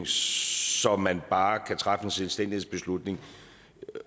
så man bare kan træffe en selvstændighedsbeslutning